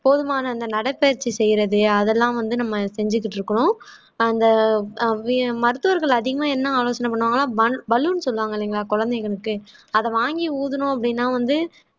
போதுமான அந்த நடைபயிற்சி செய்யறது அதெல்லாம் வந்து நம்ம செஞ்சுக்கிட்டு இருக்கோம் அந்த அஹ் வியம் மருத்துவர்கள் அதிகமா என்ன ஆலோசனை பண்ணுவாங்கன்னா bun balloon சொல்லுவாங்க இல்லைங்களா குழந்தைங்களுக்கு அது வாங்கி ஊதுனோம் அப்படின்னா வந்து